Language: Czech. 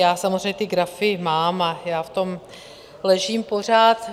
Já samozřejmě ty grafy mám a já v tom ležím pořád.